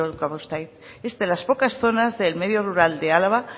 urkabustaiz es de las pocas zonas del medio rural de álava